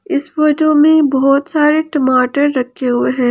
इस फोटो में बहोत सारे टमाटर रखे हुए हैं।